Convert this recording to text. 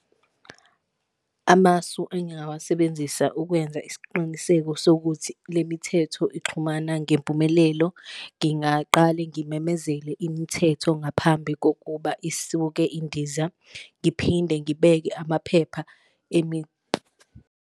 Amasu engingawasebenzisa ukwenza isiqiniseko sokuthi le mithetho ixhumana ngempumelelo, ngingaqale ngimemezele imithetho ngaphambi kokuba isuke indiza, ngiphinde ngibeke amaphepha .